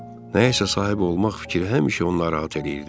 Nəyəsə sahib olmaq fikri həmişə onu narahat eləyirdi.